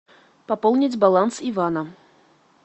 пополнить баланс ивана